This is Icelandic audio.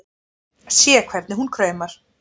Sé hvernig hún kraumar.